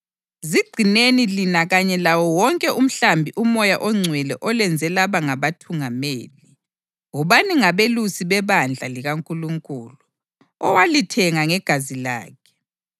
Zigcineni lina kanye lawo wonke umhlambi uMoya oNgcwele olenze laba ngabathungameli. Wobani ngabelusi bebandla likaNkulunkulu, owalithenga ngegazi lakhe.